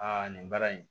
Aa nin baara in